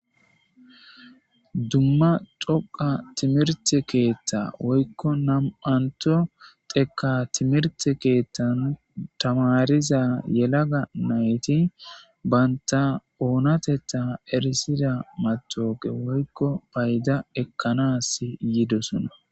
Duma dhoqa timirite ketha woyiko dhoqa timirite kethani tamarida yalagga nati banitta onatetha erisiza matoqa woyiko payida ekanasi yoddosona